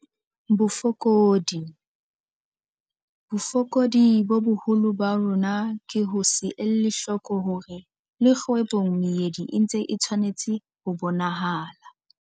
Bofokodi- Bofokodi bo boholo ba rona ke ho se ele hloko hore le kgwebong meedi e ntse e tshwanetse ho bonahala.